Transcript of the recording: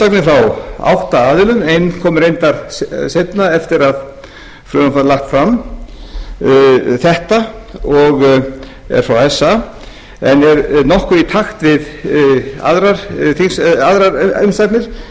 frá átta aðilum ein kom reyndar seinna eftir að frumvarpið var lagt fram þetta og er frá esa en er nokkuð í takt við aðrir umsagnir